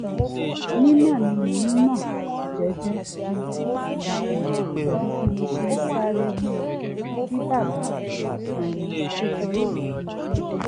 nínà tí mò ń nà jẹ́jẹ́ di wìrìwìrì pẹ̀lú bí mo ṣe sáré múra kí bàbá-kékeré mi tó dé